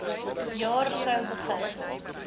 jaar sou begin